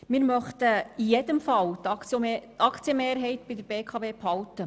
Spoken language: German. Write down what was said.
Wir möchten in jedem Fall die Aktienmehrheit der BKW behalten.